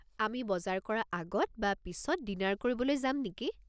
আমি বজাৰ কৰা আগত বা পিছত ডিনাৰ কৰিবলৈ যাম নেকি?